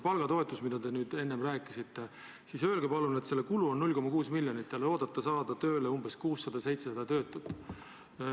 Palgatoetuse, millest te rääkisite, kulu on 0,6 miljonit ja te loodate saada tööle 600–700 töötut.